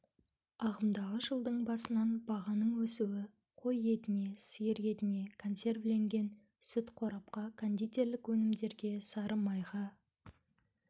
ағымдағы жылдың басынан бағаның өсуі қой етіне сиір етіне консервіленген сүтке картопқа кондитерлік өнімдерге сары майға